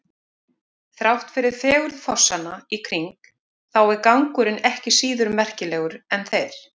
Þrátt fyrir fegurð fossanna í kring þá er gangurinn ekki síður merkilegur en þeir.